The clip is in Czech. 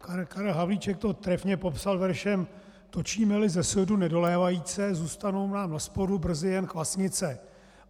Karel Havlíček to trefně popsal veršem: Točíme-li ze sudu nedolévajíce, zůstanou nám naspodu brzy jen kvasnice.